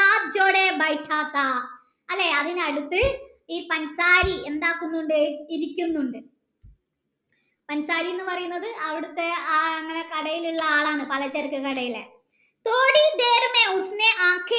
C ഈ അതിനടുത്ത് ഈ എന്താകുന്നിണ്ട് ഇരികുന്നിണ്ട് എന്ന് പറിയുന്നത് അവിടെത്തെ ആ കടയിലെ ആളാണ് പലചരക്ക് കടയില